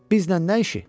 Bizlə nə işi?